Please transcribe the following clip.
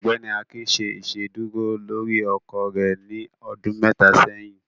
Ọgbẹni Akín ṣè iṣedúrò lórí ọkọ rẹ ní ọdún mẹta sẹ̀yìn.